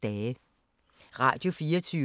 Radio24syv